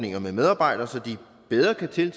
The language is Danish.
sige